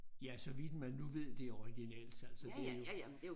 Ja så vidt man nu ved det er originalt altså det er jo